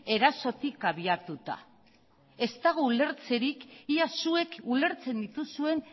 erasotik abiatuta ez dago ulertzerik ea zuek ulertzen dituzuen